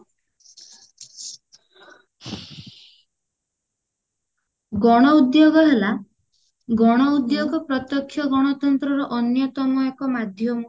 ଗଣ ଉଦ୍ଯୋଗ ହେଲା ଗଣ ଉଦ୍ଯୋଗ ପ୍ରତ୍ଯକ୍ଷ ଗଣତନ୍ତ୍ରର ଅନ୍ଯତମ ଏକ ମାଧ୍ୟମ